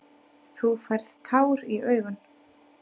Þú færð tár í augun.